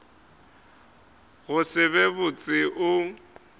go se be botse o